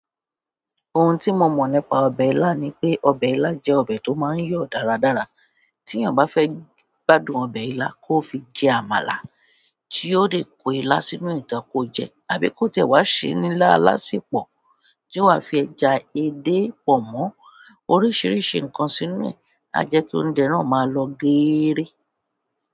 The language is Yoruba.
Ohun tí mo mọ̀ nípa ọbẹ̀ ilá ni pé ọbẹ̀ ilá jẹ́ ọbẹ̀ tó máa ń yọ̀ dáradára. Tí èèyàn bá fẹ́ràn gbádùn ọbẹ ilá kó fi jẹ àmàlà tí ó dẹ kó ilá sínú ẹ gan kó jẹ ẹ àbí ko tiẹ wa sè ni ilá alasepọ tí ó wa fi ẹja, èdè, pọnmọ. Oríṣiríṣi nǹkan sí inú ẹ. A jẹ kí oúnjẹ náà máa lọ geere.